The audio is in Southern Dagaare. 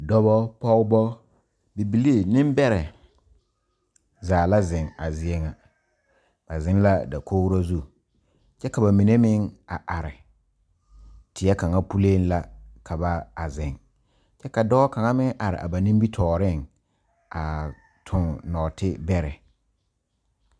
Dɔba pɔgeba bibilii nembɛrɛ zaa la zeŋ a zie ŋa ba zeŋ la dakogro zu kyɛ ka ba mine meŋ a are are teɛ kaŋa puliŋ la ka ba a zeŋ kyɛ ka dɔɔ kaŋa meŋ are a ba nimitɔɔreŋ a toŋ nɔɔtebɛrɛ.